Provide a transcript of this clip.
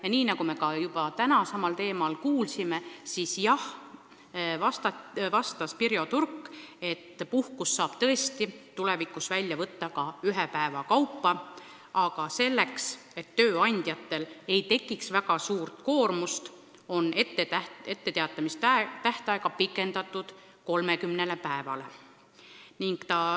Ja nagu me juba tänagi kuulsime, Pirjo Turk vastas, et puhkust saab tõesti tulevikus välja võtta ka ühe päeva kaupa, aga selleks, et tööandjatel ei tekiks väga suuri probleeme, on etteteatamise tähtaega pikendatud 30 päevani.